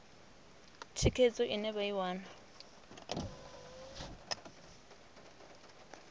thikhedzo ine vha i wana